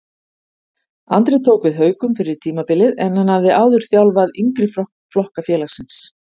Andri tók við Haukum fyrir tímabilið en hann hafði áður þjálfaði yngri flokka félagsins.